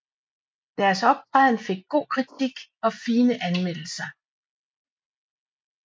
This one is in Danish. Deres optræden fik god kritik og fine anmeldelser